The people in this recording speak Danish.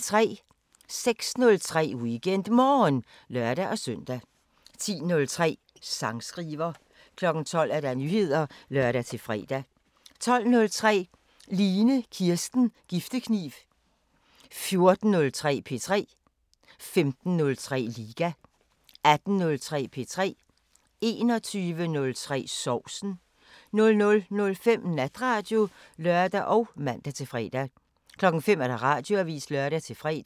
06:03: WeekendMorgen (lør-søn) 10:03: Sangskriver 12:00: Nyheder (lør-fre) 12:03: Line Kirsten Giftekniv 14:03: P3 15:03: Liga 18:03: P3 21:03: Sovsen 00:05: Natradio (lør og man-fre) 05:00: Radioavisen (lør-fre)